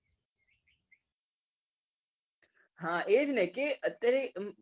હા એજ ને કે અત્યારે